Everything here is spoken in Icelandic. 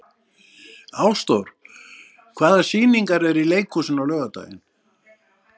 Ásdór, hvaða sýningar eru í leikhúsinu á laugardaginn?